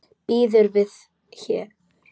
Býður við þér.